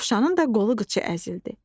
Dovşanın da qolu qıçı əzildi.